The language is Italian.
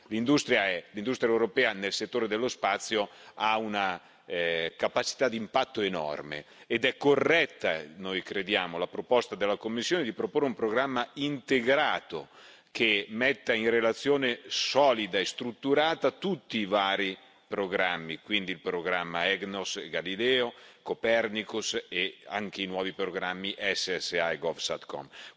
L'industria europea nel settore dello spazio ha una capacità di impatto enorme ed è corretta, noi crediamo, la proposta della Commissione di proporre un programma integrato, che metta in relazione solida e strutturata tutti i vari programmi, quindi il programma EGNOS, Galileo, Copernicus e anche i nuovi programmi SSA e GOVSATCOM.